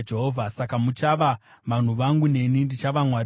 ‘Saka muchava vanhu vangu, neni ndichava Mwari wenyu.’ ”